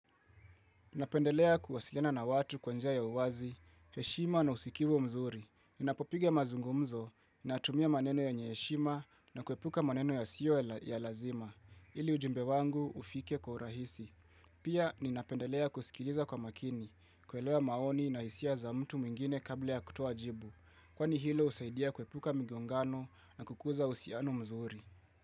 Ninapendelea kuwasiliana na watu kwa njia ya uwazi, heshima na usikivu mzuri. Ninapopiga mazungumzo natumia maneno yenye heshima na kuepuka maneno yasiyo ya lazima. Ili ujumbe wangu ufike kwa urahisi. Pia ninapendelea kusikiliza kwa makini, kuelewa maoni na hisia za mtu mwingine kabla ya kutuoa jibu. Kwani hilo usaidia kuepuka migongano na kukuza uhusiano mzuri.